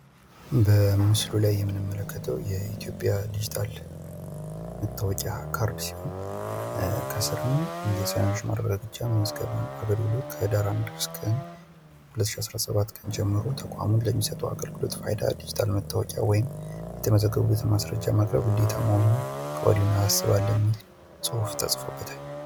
በምስሉ ላይ የምንመለከተው የኢትዮጵያን ዲጂታል ካርድ መታወቂያን ሲሆን ከስሩም "የሰነዶች ማረጋገጫ እና ምዝገባ ከህዳር 1 ቀን 2017 ዓ.ም ጀምሮ ተቋሙ ከሚሰጠው አገልግሎት ፋይዳ ዲጂታል መታወቂያ ወይም የተመዘገበበትን ማስረጃ ማቅረብ ግዴታ መሆኑን ከወዲሁ እናሳስብለን" የሚል ነው።